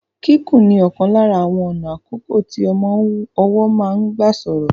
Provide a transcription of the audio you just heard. Kíkùn ni ọ̀kan lára àwọn ọ̀nà àkọ́kọ́ tí ọmọ ọwọ́ máa ń gbà sọ̀rọ̀.